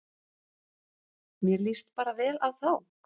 Mér líst bara vel á þá